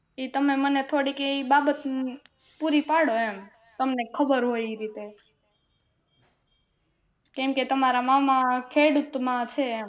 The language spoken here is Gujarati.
ઈ તમે મને થોડીક ઈ બાબત નું પુરી પાડો એમ તમને ખબર હોય ઈ રીતે કેમકે તમારે મામા ખેડૂત માં છે એમ